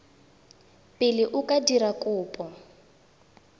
pele o ka dira kopo